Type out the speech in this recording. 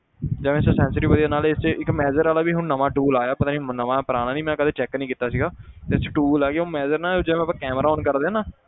ਜਿਵੇਂ ਨਾਲੇ ਇਹ 'ਚ ਇੱਕ measure ਵਾਲਾ ਵੀ ਹੁਣ ਨਵਾਂ tool ਆਇਆ ਪਤਾ ਨੀ ਨਵਾਂ ਪੁਰਾਣਾ ਨੀ ਮੈਂ ਕਦੇ check ਨੀ ਕੀਤਾ ਸੀਗਾ ਇਹ 'ਚ tool ਆ ਕਿ ਉਹ measure ਨਾ ਜਿਵੇਂ ਆਪਾਂ camera on ਕਰਦੇ ਹਾਂ ਨਾ,